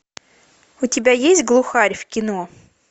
у тебя есть глухарь в кино